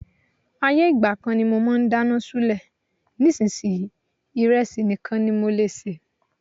Ayé ìgbà kan ni mo máa ń dáná ṣúlẹ̀, nísinsìnyí, ìrẹsì nìkan ní mo lè sè.